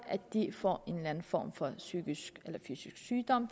at de får en eller anden form for psykisk eller fysisk sygdom